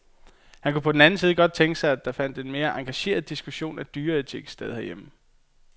Han kunne på den anden side godt tænke sig, at der fandt en mere engageret diskussion af dyreetik sted herhjemme.